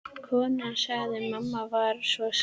Konan sagði: Mamma var svo nákvæm.